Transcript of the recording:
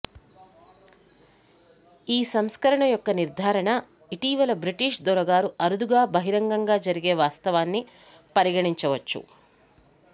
ఈ సంస్కరణ యొక్క నిర్ధారణ ఇటీవల బ్రిటిష్ దొరగారు అరుదుగా బహిరంగంగా జరిగే వాస్తవాన్ని పరిగణించవచ్చు